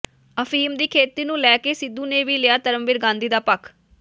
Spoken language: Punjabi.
ਅਫੀਮ ਦੀ ਖੇਤੀ ਨੂੰ ਲੈ ਕੇ ਸਿੱਧੂ ਨੇ ਵੀ ਲਿਆ ਧਰਮਵੀਰ ਗਾਂਧੀ ਦਾ ਪੱਖ